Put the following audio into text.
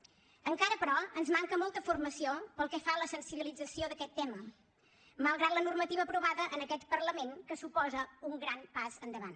encara però ens manca molta formació pel que fa a la sensibilització d’aquest tema malgrat la normativa aprovada en aquest parlament que suposa un gran pas endavant